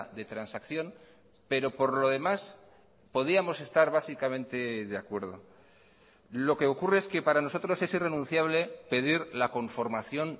de transacción pero por lo demás podíamos estar básicamente de acuerdo lo que ocurre es que para nosotros es irrenunciable pedir la conformación